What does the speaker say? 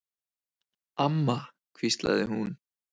Amma, hvíslaði hún.